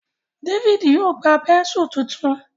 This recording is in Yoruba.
David yíò gbá Bẹ́ńsù títún.